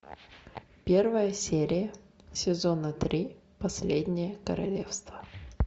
первая серия сезона три последнее королевство